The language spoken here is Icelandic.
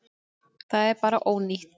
Það er bara ónýtt.